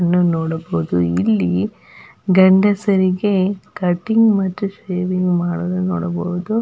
ಇನ್ನ ನೋಡಬಹುದು ಇಲ್ಲಿ ಗಂಡಸರಿಗೆ ಕಟ್ಟಿಂಗ್ ಮತ್ತು ಶೇವಿಂಗ್ ಮಾಡುವುದನ್ನು ನೋಡಬಹುದು.